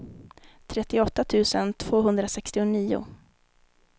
trettioåtta tusen tvåhundrasextionio